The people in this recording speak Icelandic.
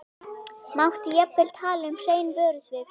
Mátti jafnvel tala um hrein vörusvik.